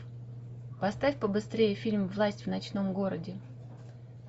поставь побыстрее фильм власть в ночном городе